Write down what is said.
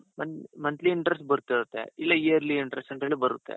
month monthly interest ಬರ್ತಾಇರುತ್ತೆ ಇಲ್ಲಾ yearly interest ಅಂತಾನು ಬರುತ್ತೆ.